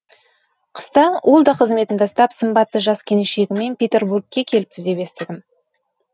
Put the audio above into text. қыста ол да қызметін тастап сымбатты жас келіншегімен петербургке келіпті деп естідім